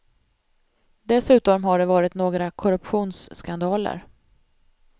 Dessutom har det varit några korruptionsskandaler.